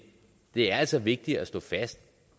det er altså vigtigt at slå fast